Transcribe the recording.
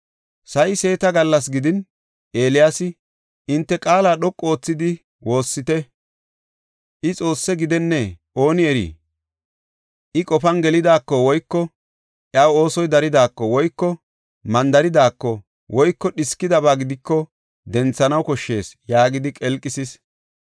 Sa7i seeta gallasa gidin, Eeliyaasi, “Hinte qaala dhoqu oothidi woossite! I Xoosse gidenne! Ooni eri, I qofan gelidaako woyko iyaw oosoy daridaako woyko mandaridaako woyko dhiskidaba gidiko denthanaw koshshees” yaagidi qelqisis.